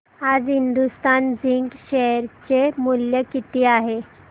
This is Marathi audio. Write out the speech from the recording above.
आज हिंदुस्तान झिंक शेअर चे मूल्य किती आहे